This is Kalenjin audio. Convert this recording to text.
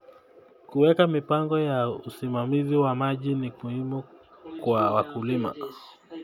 Kuweka mipango ya usimamizi wa maji ni muhimu kwa wakulima.